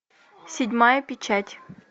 седьмая печать